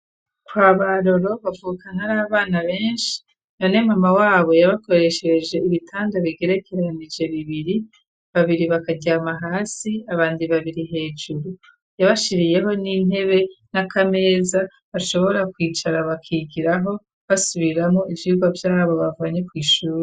Kwa baroro bavukana ari abana benshi none mama wabo yabakoreshereje ibitanda bigerekeranije bibiri ,babiri bakaryama hasi abandi babiri hejuru ,yabashiriyeho n'intebe n'akameza bashobora kwicara bakigiraho basubiramo ivyirwa vyabo bavanye kw’ishuri.